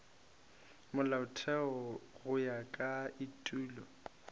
molaotheo go ya ka etulo